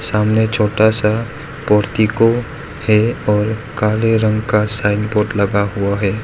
सामने छोटा सा मूर्ति को है और काले रंग का साइन बोर्ड लगा हुआ है।